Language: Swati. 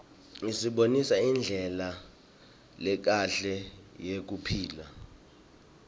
isibonisa indlela lekahle yekuphila